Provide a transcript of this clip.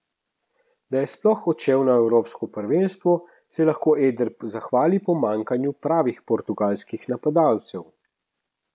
Da je sploh odšel na evropsko prvenstvo, se lahko Eder zahvali pomanjkanju pravih portugalskih napadalcev.